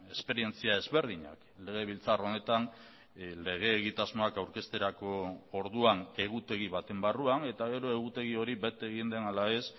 esperientzia ezberdinak legebiltzar honetan lege egitasmoak aurkezterako orduan egutegi baten barruan eta gero egutegi hori bete egin den ala ez